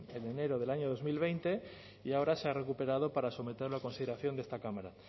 en enero del año dos mil veinte y ahora se ha recuperado para someterlo a consideración de esta cámara